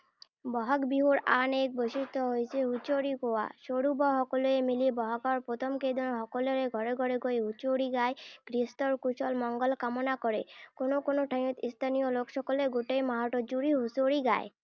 বহাগ বিহুৰ আন এক বৈশিষ্ট হৈছে হুঁচৰি গোৱা। সৰু বৰ সকলোৱে মিলি বহাগৰ প্ৰথম কেইদিনত সকলোৰে ঘৰে ঘৰে গৈ হুঁচৰি গাই গৃহস্থৰ কুশল মংগল কামনা কৰে। কোনো কোনো ঠাইত স্থানীয় লোকসকলে গোটেই মাহটো জুৰি হুঁচৰি গায়।